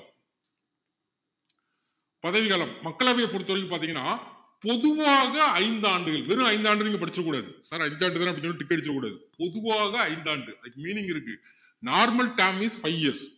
பதவிக்காலம் மக்களவைய பொறுத்த வரைக்கும் பாத்திங்கன்னா பொதுவாக ஐந்து ஆண்டுகள் வெறும் ஐந்து ஆண்டுகள்னு நீங்க படிச்சிற கூடாது அஞ்சு ஆண்டு தானேன்னு அப்படியே tick அடிச்சுறக் கூடாது பொதுவாக ஐந்து ஆண்டுகள் அதுக்கு meaning இருக்கு normal term is five years